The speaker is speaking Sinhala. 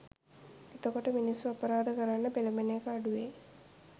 එතකොට මිනිස්සු අපරාධ කරන්න පෙලබෙන එක අඩු වෙයි